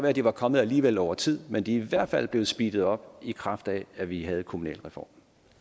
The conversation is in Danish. at de var kommet alligevel over tid men de er i hvert fald blevet speedet op i kraft af at vi havde kommunalreformen